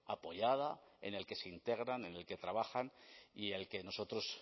apoyada en el que se integran en el que trabajan y el que nosotros